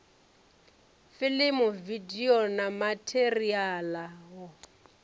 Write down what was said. filimu vidio na matheriala wa